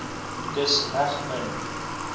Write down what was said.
dis reg min